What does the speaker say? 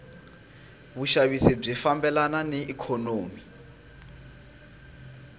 vushavisi bwifambelana naiknonomi